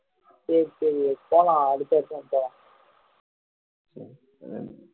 சரி சரி விவேக் போலாம் அடுத்த வருஷம் போலாம்